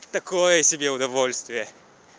такое себе удовольствие